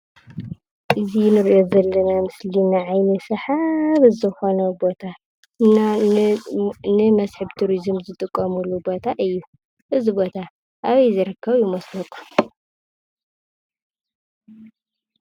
እዚ እንሪኦ ዘለና ምስሊ ንዓይኒ ሳሓቢ ዘኮነ ቦታ ንመስሕብ ቱሪዙም ዝጥቀምሉ እዩ:: እዚ ቦታ አበይ ዝርከብ ይመስለኩም?